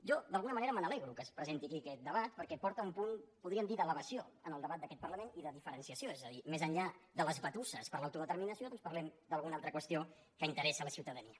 jo d’alguna manera me n’alegro que es presenti aquí aquest debat perquè porta un punt podríem dir d’elevació en el debat d’aquest parlament i de diferenciació és a dir més enllà de les batusses per l’autodeterminació parlem d’alguna altra qüestió que interessa la ciutadania